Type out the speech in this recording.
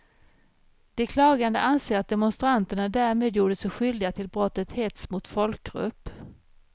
De klagande anser att demonstranterna därmed gjorde sig skyldiga till brottet hets mot folkgrupp.